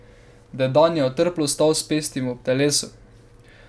Dedan je otrplo stal s pestmi ob telesu.